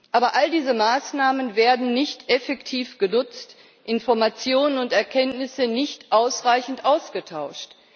Aber all diese Maßnahmen werden nicht effektiv genutzt, Informationen und Erkenntnisse nicht ausreichend ausgetauscht.